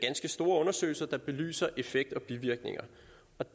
store undersøgelser der belyser effekt og bivirkninger